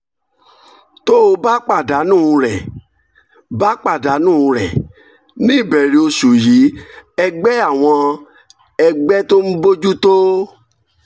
tó o bá pàdánù rẹ̀: bá pàdánù rẹ̀: ní ìbẹ̀rẹ̀ oṣù yìí ẹgbẹ́ àwọn ẹgbẹ́ tó ń bójú tó